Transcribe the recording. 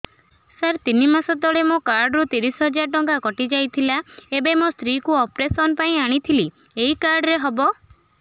ସାର ତିନି ମାସ ତଳେ ମୋ କାର୍ଡ ରୁ ତିରିଶ ହଜାର ଟଙ୍କା କଟିଯାଇଥିଲା ଏବେ ମୋ ସ୍ତ୍ରୀ କୁ ଅପେରସନ ପାଇଁ ଆଣିଥିଲି ଏଇ କାର୍ଡ ରେ ହବ